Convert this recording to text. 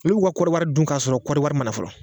Olu b'u ka kɔriwari dun k'a sɔrɔ kɔri wari ma na fɔlɔ